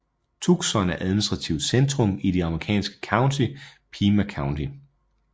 Tucson er administrativt centrum i det amerikanske county Pima County